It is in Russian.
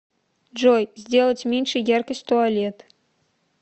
джой сделать меньше яркость туалет